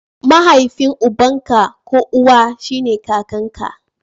Mahaifin uban ka ko uwa shine kakanka.